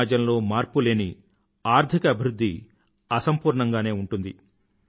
సమాజంలో మార్పు లేని ఆర్థిక అభివృధ్ధి అసంపూర్ణంగానే ఉంటుంది